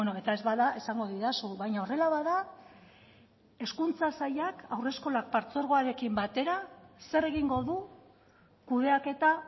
eta ez bada esango didazu baina horrela bada hezkuntza sailak haurreskolak partzuergoarekin batera zer egingo du kudeaketa